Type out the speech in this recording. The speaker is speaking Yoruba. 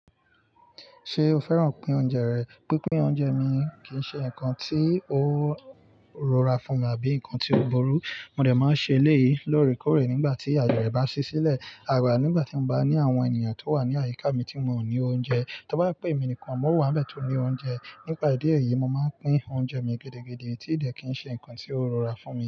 Ṣé o fẹ́ràn pín oúnjẹ rẹ̀? Pínpín oúnjẹ mi kì í ṣe nǹkan tí ó rọra fún mi àbí nǹkan tí ó burú. Mo dà máa ń ṣe eléyìí lórèkórè nígbà tí àyè rẹ̀ bá sí sílẹ̀. Àgbà nígbà tí mo bá ní àwọn ènìyàn tó wà ní àyíká mi tí wón ò ní oúnjẹ. Tó bá pè emí nìkan, mò ń wá bẹ̀tí òní oúnjẹ. Nípa ìdí èyí, mo máa ń pín oúnjẹ mi gẹ́dẹ́gẹ́dẹ́ tí ìdè kì í ṣe nǹkan tí ó rọra fún mi.